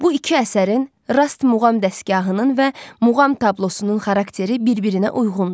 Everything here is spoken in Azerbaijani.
Bu iki əsərin, rast muğam dəstgahının və muğam tablosunun xarakteri bir-birinə uyğundur.